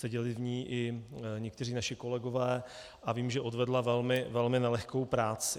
Seděli v ní i někteří naši kolegové a vím, že odvedla velmi nelehkou práci.